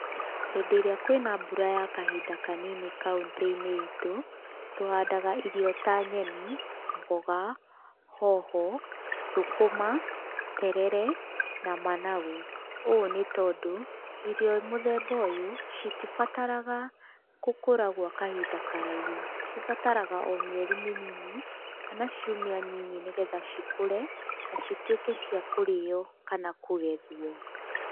Hĩndĩ ĩrĩa kwĩna mbura ya kahinda kanini kauntĩ-inĩ itũ, tũhandaga irio ta nyeni, mboga, hoho, thũkũma, terere na managu, ũũ nĩ tondũ irio mũthemba ũyũ, citibataraga gũkũra gwa kahinda karaihu, cibataraga o mĩerĩ mĩnini, kana ciũmia nyinyi nĩgetha cikũre, na cituĩke ciakũrĩo kana kũgethwo.